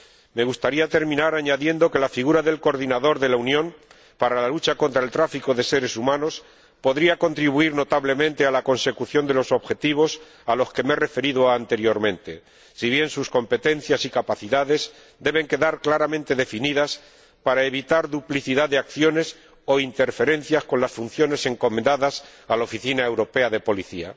Me gustaría terminar añadiendo que la figura del Coordinador de la Unión para la lucha contra el tráfico de seres humanos podría contribuir notablemente a la consecución de los objetivos a los que me he referido anteriormente, si bien sus competencias y capacidades deben quedar claramente definidas para evitar duplicidad de acciones o interferencias con las funciones encomendadas a la Oficina Europea de Policía.